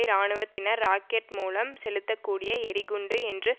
இராணுவத்தினர் ராக்கட் மூலம் செலுத்தக்கூடிய எறிகுண்டு என்று